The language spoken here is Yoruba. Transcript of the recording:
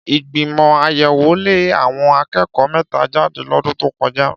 Ìgbìmọ̀ àyẹ̀wò lé àwọn akẹ́kọ̀ọ́ mẹ́ta jáde lọ́dún tó kọjá.